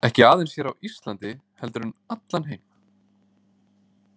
Ekki aðeins hér á Íslandi heldur um allan heim.